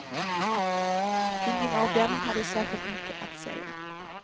Ingen av dem hade särskilt mycket att säga.